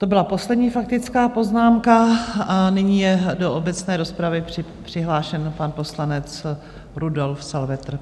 To byla poslední faktická poznámka a nyní je do obecné rozpravy přihlášen pan poslanec Rudolf Salvetr.